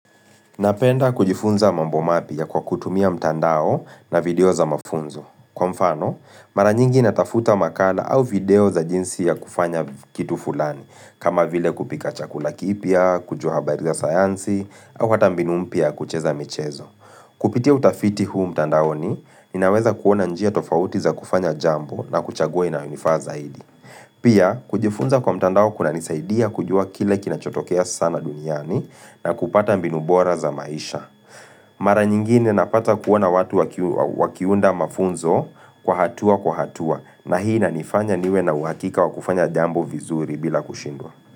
Napenda kujifunza mambo mapya kwa kutumia mtandao na video za mafunzo. Kwa mfano, mara nyingi natafuta makala au video za jinsi ya kufanya kitu fulani, kama vile kupika chakula kipya, kujua habari za sayansi, au hata mbinu mpya ya kucheza michezo. Kupitia utafiti huu mtandaoni, ninaweza kuona njia tofauti za kufanya jambo na kuchaguwa inanifa zaidi. Pia, kujifunza kwa mtandao kunanisaidia kujua kile kina chotokea sana duniani, na kupata mbinu bora za maisha. Mara nyingine napata kuona watu wakiunda mafunzo kwa hatua kwa hatua. Na hii inanifanya niwe na uhakika wa kufanya jambo vizuri bila kushindwa.